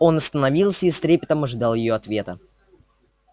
он остановился и с трепетом ожидал её ответа